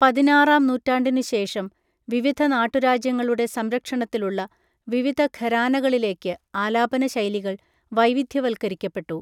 പതിനാറാം നൂറ്റാണ്ടിനുശേഷം, വിവിധ നാട്ടുരാജ്യങ്ങളുടെ സംരക്ഷണത്തിലുള്ള വിവിധ ഘരാനകളിലേക്ക് ആലാപന ശൈലികൾ വൈവിധ്യവൽക്കരിക്കപ്പെട്ടു.